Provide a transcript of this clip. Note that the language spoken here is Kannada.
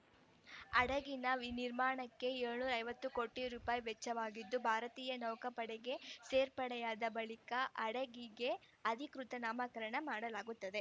ಹಡಗಿನ ವಿ ನಿರ್ಮಾಣಕ್ಕೆ ಏಳು ಐವತ್ತು ಕೋಟಿ ರುಪಾಯಿ ವೆಚ್ಚವಾಗಿದ್ದು ಭಾರತೀಯ ನೌಕಾಪಡೆಗೆ ಸೇರ್ಪಡೆಯಾದ ಬಳಿಕ ಹಡಗಿಗೆ ಅಧಿಕೃತ ನಾಮಕರಣ ಮಾಡಲಾಗುತ್ತದೆ